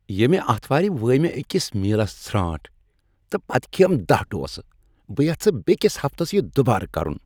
ییٚمہِ آتھوارِ وٲے مےٚ أکِس مِیلس ژھرانٹ تہٕ پتہٕ کھییم دہہ ڈوسا۔ بہٕ یژھہٕ بیکِس ہفتس یِہ دوبارٕ کرن ۔